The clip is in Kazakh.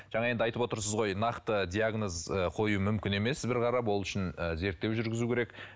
жаңа енді айтып отырсыз ғой нақты диагноз ы қою мүмкін емес бір қарап ол үшін ы зерттеу жүргізу керек